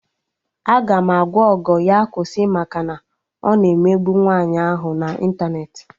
Aga m agwa Ogo ya kwụsị maka na ọ na-emegbu nwaanyị ahụ na ịntanetị